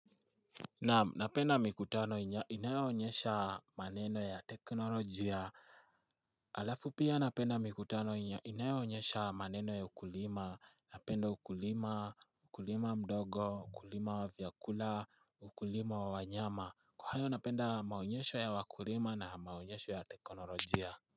Napenda mikutano inayoonyesha maneno ya teknolojia Alafu pia napenda mikutano inayoonyesha maneno ya ukulima. Napenda ukulima, ukulima mdogo, ukulima wa vyakula, ukulima wa wanyama. Kwa hayo napenda maonyesho ya wakulima na maonyesho ya teknolojia.